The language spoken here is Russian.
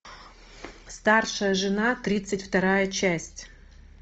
старшая жена тридцать вторая часть